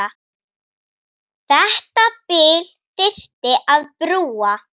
Þetta bil þyrfti að brúa.